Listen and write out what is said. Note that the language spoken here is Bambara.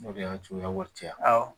O de y'a juguya wari caya awɔ